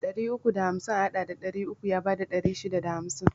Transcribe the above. Ɗari uku da hamsin a haɗa da ɗari uku ya bada ɗari shida da hamsin